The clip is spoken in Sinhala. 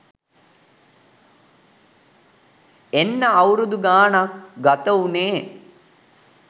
එන්න අවුරුදු ගානක් ගත වුනේ